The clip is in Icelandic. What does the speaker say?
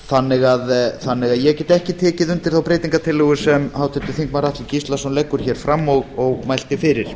þannig að ég get ekki tekið undir þá breytingartillögu sem háttvirtur þingmaður atli gíslason leggur hér fram og mælt er fyrir